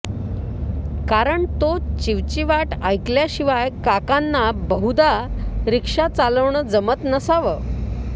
कारण तो चिवचिवाट ऐकल्याशिवाय काकांना बहुदा रिक्षा चालवणं जमत नसावं